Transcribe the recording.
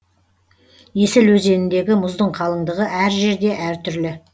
есіл өзеніндегі мұздың қалыңдығы әр жерде әртүрлі